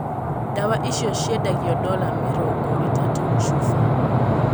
Dawa icio ciendagio dola mĩrongo itatũ chufa